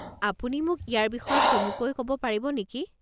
আপুনি মোক ইয়াৰ বিষয়ে চমুকৈ ক'ব পাৰিব নেকি?